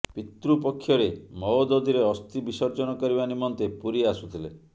ପିତୃପକ୍ଷରେ ମହୋଦଧିରେ ଅସ୍ଥି ବିସର୍ଜନ କରିବା ନିମନ୍ତେ ପୁରୀ ଆସୁଥିଲେ